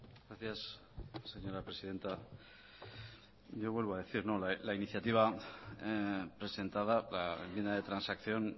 gracias señora presidenta yo vuelvo a decir no la iniciativa presentada la enmienda de transacción